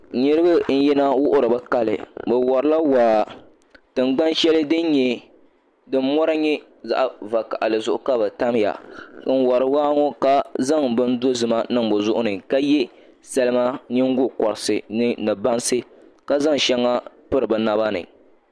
Niraba n yina wuhuri bi kali bi worila waa tingbani shɛli din mɔri nyɛ zaɣ vakaɣali zuɣu ka bi tamya n wori waa ŋɔ ka zaŋ bini dozima niŋ bi zuɣu ni ka yɛ salima nyingokoriti ni bansi ka zaŋ shɛŋa piri bi naba ni